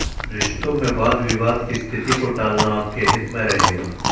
रिश्तो में वाद विवाद की स्थिति को टालना आपके हित में रहेगा